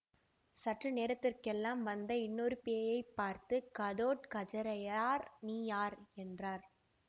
சற்று நேரத்திற்கெல்லாம் வந்த இன்னொரு பேயைப் பார்த்து கடோ த்கஜராயர் நீ யார் என்றார்